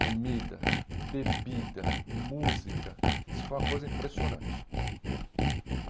comida, bebida, música, isso foi uma coisa impressionante.